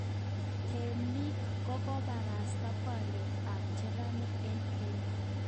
Teemik kokobarasta boryet tab chererenik eng kenya